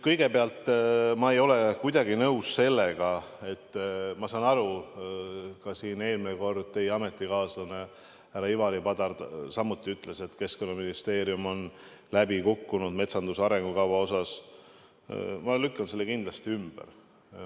Kõigepealt, ma ei ole kuidagi nõus sellega , nagu Keskkonnaministeerium oleks metsanduse arengukavaga läbi kukkunud.